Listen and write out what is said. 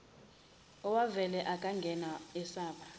owavela akangabe esaba